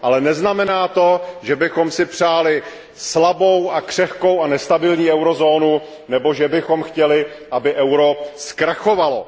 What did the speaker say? Ale neznamená to, že bychom si přáli slabou a křehkou a nestabilní eurozónu nebo že bychom chtěli, aby euro zkrachovalo.